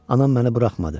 Anam məni buraxmadı.